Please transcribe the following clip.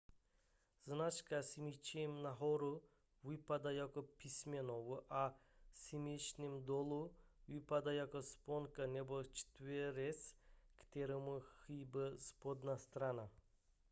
značka smyčcem nahoru vypadá jako písmeno v a smyčcem dolů vypadá jako sponka nebo čtverec kterému chybí spodní strana